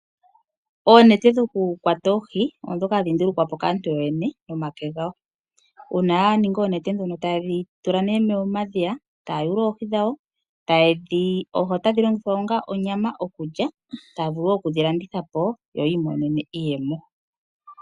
Oonete dhoku kwata oohi. Odho ndhoka hadhi ndulukwapo kaantu yoyene nomake gawo. Uuna ya ninga oonete ndhono taye dhi tula nee momadhiya etaya yulu oohi dhawo. Oohi otadhi longilwa onga onyama okulya. Taya vulu oku dhi landitha po yo yiimonene iiyemo.